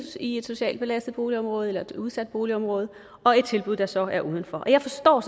i et socialt belastet boligområdet eller et udsat boligområde og et tilbud der så er uden for jeg forstår